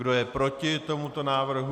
Kdo je proti tomuto návrhu?